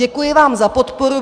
Děkuji vám za podporu.